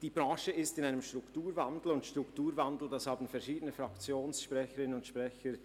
Die Branche ist in einem Strukturwandel, und dieser Strukturwandel – verschiedene Fraktionssprecher und -sprecherinnen haben